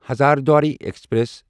Hazarduari express